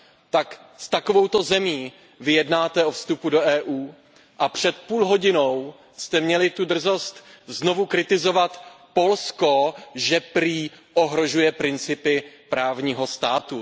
Tak s takovouto zemí vy jednáte o vstupu do EU a před půl hodinou jste měli tu drzost znovu kritizovat Polsko, že prý ohrožuje principy právního státu.